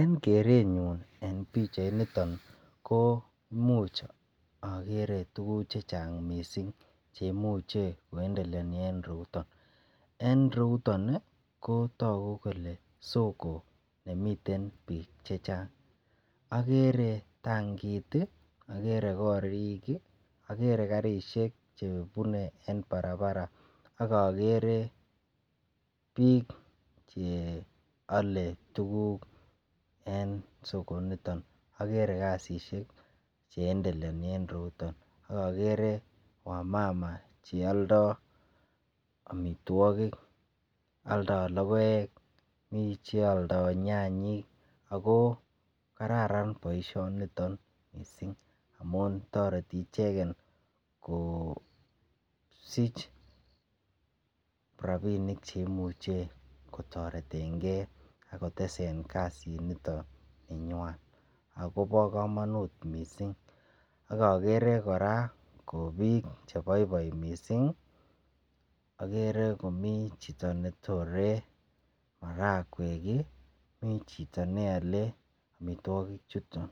En kerenyun en pichainiton komuch agere tuguk che chang mising che imuche koendeleoni en ireyuton. En ireyuton ko tagu kole sogo ne miten biik chechang. Agere tangit, agere korik, agere karisiek che bune eng barabara ak agere biik che ale tuguk en soko initon. Agere kasisiek che indeleoni en ireyuton ak agere wamama che aldo amitwogik. Aldo logoek, mi che aldo nyanyek ago kararan boisionito mising amun toreti icheget kosich rapinik che muche kotoretenge ak kotesen kasinito ninyan ago bo kamanut mising ak agere kora ko biik cheboiboi mising. Agere komi chito ne tore marakwek, mi chito ne ale amitwogichuton.